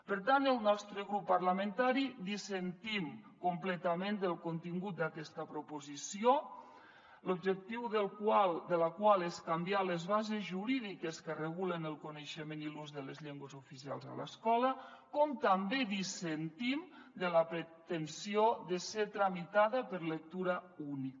per tant el nostre grup parlamentari dissentim completament del contingut d’aquesta proposició l’objectiu de la qual és canviar les bases jurídiques que regulen el coneixement i l’ús de les llengües oficials a l’escola com també dissentim de la pretensió de ser tramitada per lectura única